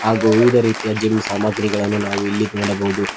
ಹಾಗೂ ವಿವಿಧ ರೀತಿಯ ಜಿಮ್ ಸಾಮಗ್ರಿಗಳನ್ನು ನಾವು ಇಲ್ಲಿ ನೋಡಬಹುದು.